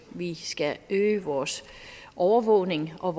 vi skal øge vores overvågning og